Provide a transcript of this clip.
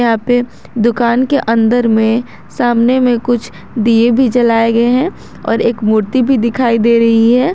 यहां पे दुकान के अंदर में सामने में कुछ दिए भी जलाए गए हैं और एक मूर्ति भी दिखाई दे रही है।